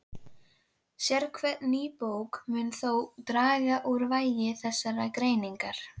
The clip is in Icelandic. Sérhver ný bók mun þó draga úr vægi þessarar greiningar.